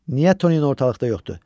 Niyə Tonino ortalıqda yoxdur?